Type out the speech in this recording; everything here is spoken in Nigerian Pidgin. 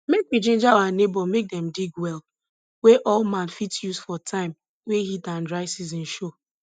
make we ginger our neighbor make dem dig well wey all man fit use for time wey heat and dry season show